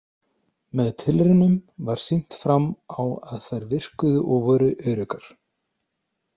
Með tilraunum var sýnt fram á að þær virkuðu og voru öruggar.